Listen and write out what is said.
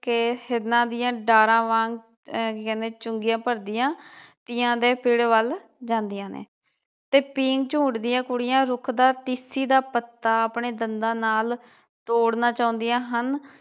ਕੇ ਹਿਰਨਾਂ ਦੀਆ ਡਾਰਾਂ ਵਾਂਗ ਅਹ ਕੀ ਕਹਿੰਦੇ ਚੁੰਗੀਆਂ ਭਰਦੀਆਂ ਤੀਆਂ ਦੇ ਪੇੜ ਵਲ ਜਾਂਦੀਆਂ ਨੇ ਤੇ ਪੀਂਗ ਝੂਟਦੀਆਂ ਕੁੜੀਆਂ ਰੁੱਖ ਦਾ ਟੀਸੀ ਦਾ ਪੱਤਾ ਆਪਣੇ ਦੰਦਾਂ ਨਾਲ ਤੋੜਨਾ ਚਾਹੁੰਦੀਆਂ ਹਨ।